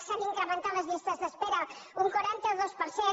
s’han incremen·tat les llistes d’espera un quaranta dos per cent